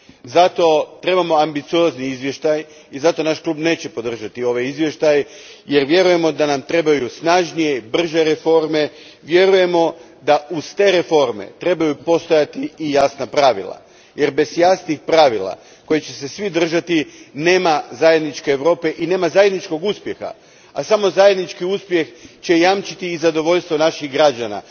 Zato trebamo ambiciozni izvještaj i zato naš Klub neće podržati ovaj izvještaj jer vjerujemo da nam trebaju snažnije i brže reforme, vjerujemo da uz te reforme trebaju postojati i jasna pravila, jer bez jasnih pravila kojih će se svi držati nema zajedničke Europe i nema zajedničkog uspjeha, a samo zajednički uspjeh će jamčiti i zadovoljstvo naših građana.